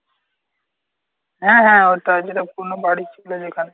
হ্যাঁ হ্যাঁ ওটাই যেটা পুরোনো বাড়ি ছিল যেখানে।